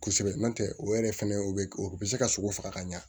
Kosɛbɛ n'o tɛ o yɛrɛ fɛnɛ o bɛ o bɛ se ka sogo faga ka ɲa